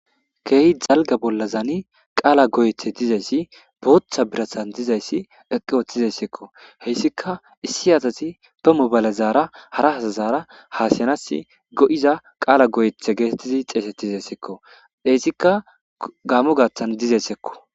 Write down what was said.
Keehi dalga bolla zaani qaala goyethe dizayssi bootha birathan dizayssi eqqi ooththizaysseekko heyssika issi asasi ba mobaale zaara hara hasazaara haasiyanas go7iza qaala goyethe geetettidi xeesettizessekko deessika gaamo gaaththan dizayssekko.